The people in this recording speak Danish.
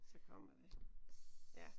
Så kommer det ja